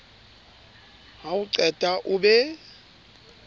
ha o qeta o be